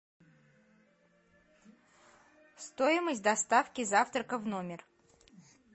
стоимость доставки завтрака в номер